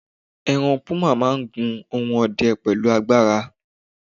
eran puma ma n gun ohun ọdẹ pẹlu agbara